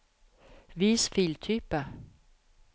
vis filtype